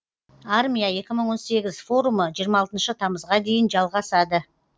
армия екі мың он сегіз форумы жиырма алтыншы тамызға дейін жалғасады